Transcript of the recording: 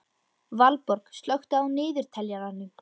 Valborg, slökktu á niðurteljaranum.